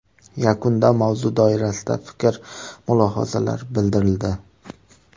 Yakunda mavzu doirasida fikr-mulohazalar bildirildi.